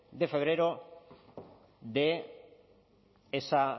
de febrero de esa